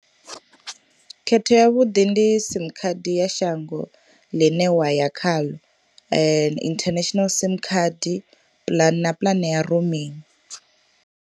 Khetho ya vhuḓi ndi sim khadi ya shango ḽine wa ya khaḽo international sim khadi plan na puḽane ya roaming.